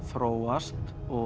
þróast